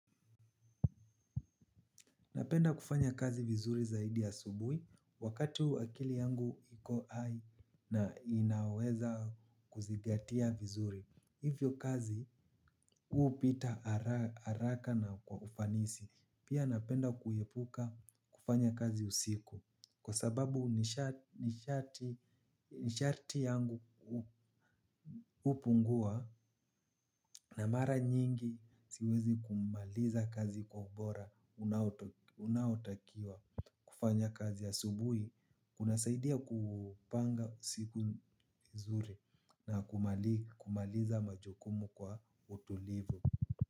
Napenda kufanya kazi vizuri zaidi ya asubuhi wakati huu akili yangu iko hai na inaweza kuzingatia vizuri. Hivyo kazi, hupita haraka na kwa ufanisi. Pia napenda kuepuka kufanya kazi usiku. Kwa sababu nishati yangu hupungua na mara nyingi siwezi kumaliza kazi kwa ubora unaotakiwa kufanya kazi ya asubuhi. Kunasaidia kupanga siku nzuri na kumaliza majukumu kwa utulivu.